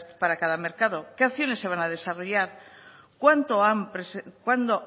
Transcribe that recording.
para cada mercado qué acciones se van a desarrollar cuándo